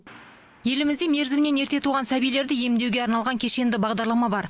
елімізде мерзімінен ерте туған сәбилерді емдеуге арналған кешенді бағдарлама бар